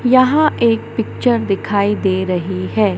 यहां एक पिक्चर दिखाई दे रही है।